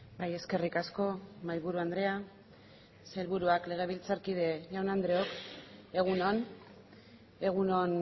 bai eskerrik asko mahai buru andrea sailburuak legebiltzarkide jaun andreok egun on egun on